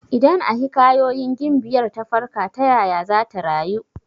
Idan a hikayoyin gimbiyar ta farka, ta yaya zata rayu?